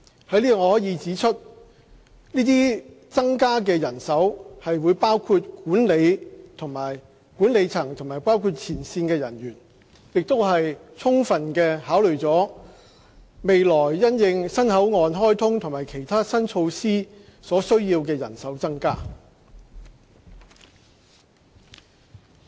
在此我可以指出，這些增加的人手會包括管理層和前線人員，亦充分考慮了未來因應新口岸開通和其他新措施所需要的人手增加。